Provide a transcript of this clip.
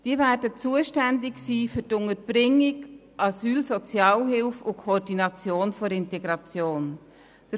Diese werden für die Unterbringung, die Asylsozialhilfe und die Koordination der Integration zuständig sein.